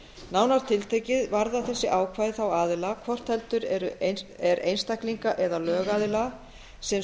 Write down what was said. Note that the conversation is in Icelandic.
nánar tiltekið varða þessi ákvæði þá aðila hvort heldur er einstaklinga eða lögaðila sem